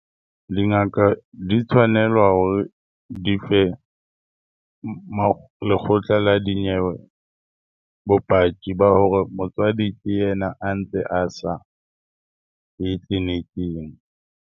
Dingaka di tshwanelwa hore di fe lekgotla la dinyewe bopaki ba hore motswadi ke yena a ntse a sa ye tleliniking.